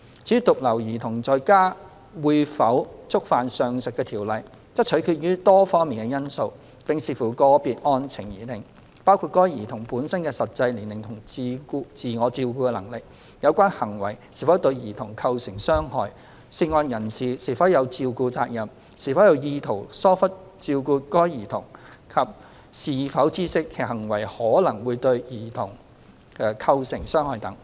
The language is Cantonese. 至於獨留兒童在家會否觸犯上述條例，則取決於多方面因素，並視乎個別案情而定，包括該兒童本身的實際年齡和自我照顧能力，有關行為是否對兒童構成傷害、涉案人士是否有照顧責任、是否有意圖疏忽照顧該兒童及是否知悉其行為可能會對該兒童構成傷害等。